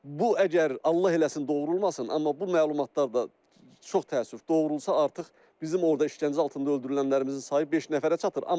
Bu əgər Allah eləsin, doğru olmasın, amma bu məlumatlar da çox təəssüf doğru olsa artıq bizim orda işgəncə altında öldürülənlərimizin sayı beş nəfərə çatır.